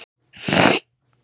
Hann byrjar að tala.